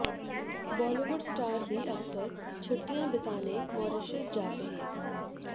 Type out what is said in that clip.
Bollywood star भी अक्सर छुट्टियां बिताने मॉरीशस जाते हैं